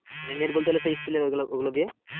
মানে net বলতে গেলে সেই steel এর ওইগুলো দিয়ে।